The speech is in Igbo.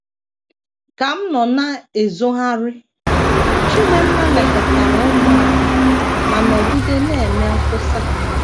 Ka m nọ na - ezogharị,, Chidinma lekọtara ụmụ anyị ma nọgide na - eme nkwusa.